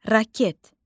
Raket.